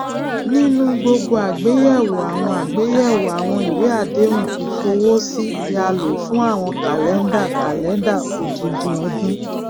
nínu gbogbo àgbéyewò àwọn àgbéyewò àwọn ìwéàdéhùn ìfowósí ni a lò fún àwọn kàlendà calendar odindin ọdún